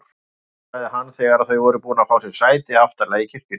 Geggjað sagði hann þegar þau voru búin að fá sér sæti aftarlega í kirkjunni.